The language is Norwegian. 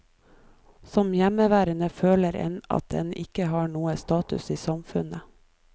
Som hjemmeværende føler en at en ikke har noen status i samfunnet.